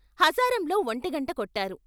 హజారంలో ఒంటిగంట కొట్టారు.